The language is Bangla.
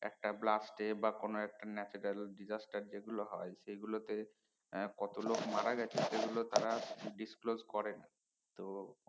একটা blast এ বা কোন একটা natural disaster যে গুলো হয় সে গুলোতে আহ কত লোক মারা গেছে সেগুলো তারা disclose করে তো